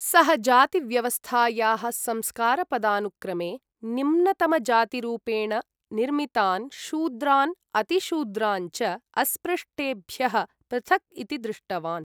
सः जातिव्यवस्थायाः संस्कारपदानुक्रमे निम्नतमजातिरूपेण निर्मितान् शूद्रान् अतिशूद्रान् च अस्पृष्टेभ्यः पृथक् इति दृष्टवान्।